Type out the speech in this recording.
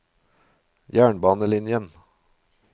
jernbanelinjen